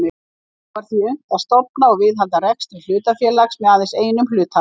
Þar er því unnt að stofna og viðhalda rekstri hlutafélags með aðeins einum hluthafa.